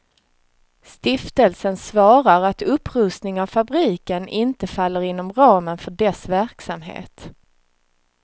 Stiftelsen svarar att upprustning av fabriken inte faller inom ramen för dess verksamhet.